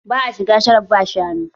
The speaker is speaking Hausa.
Ba'a shiga sharo ba shanu?